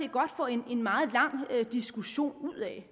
jo godt få en meget lang diskussion ud af